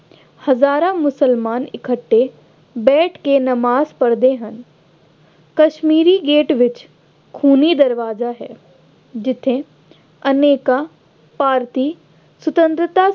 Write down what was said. ਹਜ਼ਾਰਾਂ ਮੁਸਲਮਾਨ ਇਕੱਠੇ ਬੈਠ ਕੇ ਨਵਾਜ਼ ਪੜ੍ਹਦੇ ਹਨ। ਕਸ਼ਮੀਰੀ ਗੇਟ ਵਿੱਚ ਖੂਨੀ ਦਰਵਾਜ਼ਾ ਹੈ। ਜਿੱਥੇ ਅਨੇਕਾਂ ਭਾਰਤੀਆਂ ਸੁਤੰਤਰਤਾ